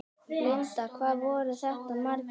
Linda: Hvað voru þetta margir?